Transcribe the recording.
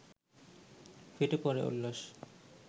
ফেটে পড়ে উল্লাস